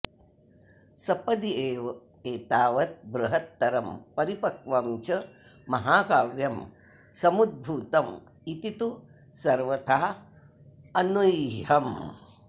सपदि एव एतावत् बृहत्तरं परिपक्वं च महाकाव्यं समुद्भूतम् इति तु सर्वथा अनूह्यम्